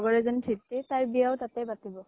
লগৰ এজনী ধিতি । তাইৰো বিয়া তাতে পাতিব ।